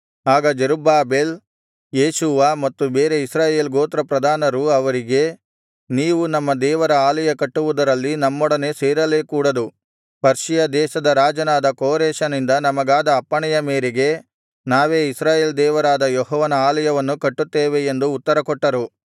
ಆಗ Zerubbabel Jeshua ಮತ್ತು ಬೇರೆ ಇಸ್ರಾಯೇಲ್ ಗೋತ್ರಪ್ರಧಾನರೂ ಅವರಿಗೆ ನೀವು ನಮ್ಮ ದೇವರ ಆಲಯ ಕಟ್ಟುವುದರಲ್ಲಿ ನಮ್ಮೊಡನೆ ಸೇರಲೇ ಕೂಡದು ಪರ್ಷಿಯ ದೇಶದ ರಾಜನಾದ ಕೋರೆಷನಿಂದ ನಮಗಾದ ಅಪ್ಪಣೆಯ ಮೇರೆಗೆ ನಾವೇ ಇಸ್ರಾಯೇಲ್ ದೇವರಾದ ಯೆಹೋವನ ಆಲಯವನ್ನು ಕಟ್ಟುತ್ತೇವೆ ಎಂದು ಉತ್ತರ ಕೊಟ್ಟರು